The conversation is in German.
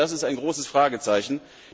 Das ist ein großes Fragezeichen.